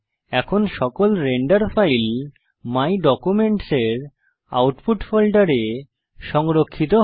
এখন আমাদের সকল রেন্ডার ফাইল মাই ডকুমেন্টস এর আউটপুট ফোল্ডারে সংরক্ষিত হবে